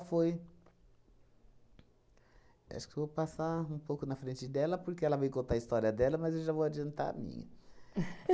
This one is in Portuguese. foi acho que eu vou passar um pouco na frente dela, porque ela vem contar a história dela, mas eu já vou adiantar a minha.